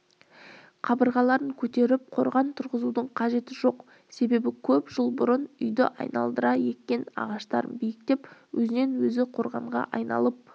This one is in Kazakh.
қабырғаларын көтеріп қорған тұрғызудың қажеті жоқ себебі көп жыл бұрын үйді айналдыра еккен ағаштарым биіктеп өзінен-өзі қорғанға айналып